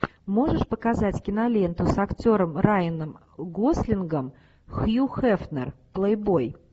можешь показать киноленту с актером райаном гослингом хью хефнер плейбой